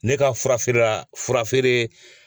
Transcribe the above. Ne ka furafeerela furafeere.